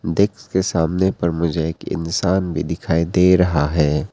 Desk के सामने पर मुझे एक इंसान भी दिखाई दे रहा है।